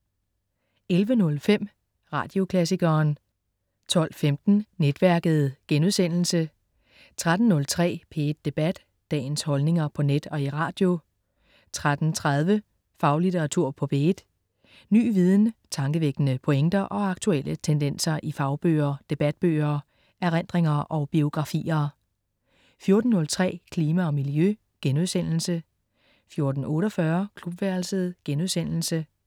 11.05 Radioklassikeren 12.15 Netværket* 13.03 P1 Debat. Dagens holdninger på net og i radio 13.30 Faglitteratur på P1. Ny viden, tankevækkende pointer og aktuelle tendenser i fagbøger, debatbøger, erindringer og biografier 14.03 Klima og miljø* 14.48 Klubværelset*